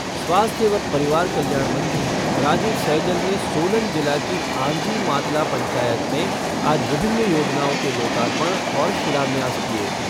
स्वास्थ्य व परिवार कल्याण मंत्री राजीव सैजल ने सोलन जिला की आंजी मातला पंचायत में आज विभिन्न योजनाओं के लोकार्पण और शिलान्यास किए।